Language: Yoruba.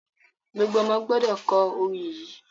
Gbogbo ọ̀mọ gbọdọ̀ kò ọ̀rọ̀ yí!